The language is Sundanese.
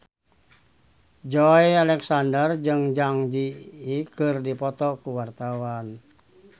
Joey Alexander jeung Zang Zi Yi keur dipoto ku wartawan